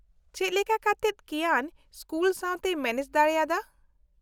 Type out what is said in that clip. ᱪᱮᱫ ᱞᱮᱠᱟ ᱠᱟᱛᱮᱫ ᱠᱤᱭᱟᱱ ᱥᱠᱩᱞ ᱥᱟᱶᱛᱮᱭ ᱢᱮᱱᱮᱡ ᱫᱟᱲᱮᱭᱟᱫᱟ ?